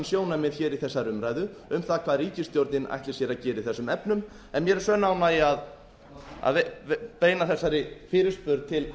sjónarmið í þessari umræðu um það hvað ríkisstjórnin ætli sér að gera í þessum efnum en mér er sönn ánægja að beina þessari fyrirspurn til